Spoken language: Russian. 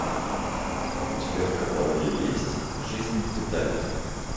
у тебя в каталоге есть жизнь в деталях